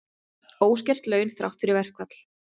Óskert laun þrátt fyrir verkfall